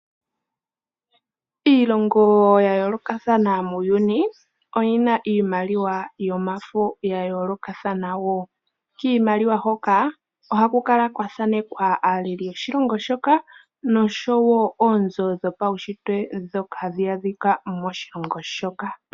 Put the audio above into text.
Iilongo ya yoolokathana muuyuni oyi na iimaliwa yomafo ya yoolokathana wo. Kiimaliwa hoka ohaku kala kwa thaanekwa aaleli yoshilongo shoka noshowo oonzo dhopaunshitwe ndhoka hadhi adhika moshilongo shoka.